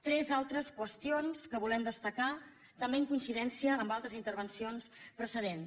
tres altres qüestions que volem destacar també en coincidència amb altres intervencions precedents